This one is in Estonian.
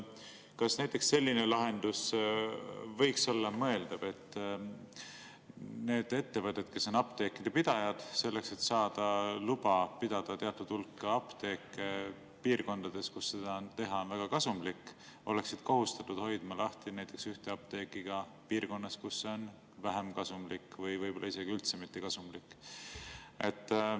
Kas võiks olla mõeldav selline lahendus, et need ettevõtted, kes on apteekide pidajad, selleks et saada luba pidada teatud hulk apteeke piirkondades, kus seda teha on väga kasumlik, oleksid kohustatud hoidma lahti näiteks ühte apteeki ka piirkonnas, kus see on vähem kasumlik või võib-olla isegi üldse mittekasumlik?